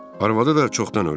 Arvadı da çoxdan ölüb.